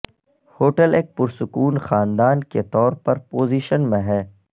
hotel ایک پرسکون خاندان کے طور پر پوزیشن میں ہے